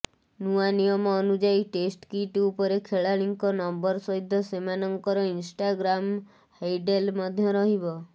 ନୂଆ ନିୟମ ଅନୁଯାୟୀ ଟେଷ୍ଟ କିଟ ଉପରେ ଖେଳାଳିଙ୍କ ନମ୍ୱର ସହିତ ସେମାନଙ୍କର ଇନ୍ଷ୍ଟାଗ୍ରାମ ହୈଡେଲ ମଧ୍ୟ ରହିବ